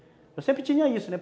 Eu sempre tinha isso, né?